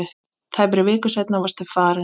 Tæpri viku seinna varstu farinn.